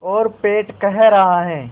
और पेट कह रहा है